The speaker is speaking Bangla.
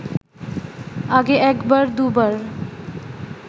আগে একবার দু’বার